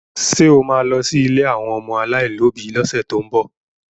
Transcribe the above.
Ṣé o ma lọ sí ilé àwọn ọmọ aláìlóbi lọ́sẹ̀ tó ń bọ̀?